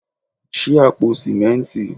Ṣí àpò sìmẹ́ntì.